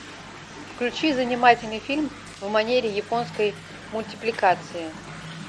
включи занимательный фильм в манере японской мультипликации